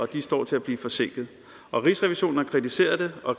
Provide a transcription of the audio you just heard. de står til at blive forsinket rigsrevisionen har kritiseret det og